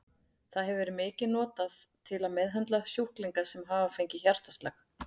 Það hefur verið mikið notað til að meðhöndla sjúklinga sem hafa fengið hjartaslag.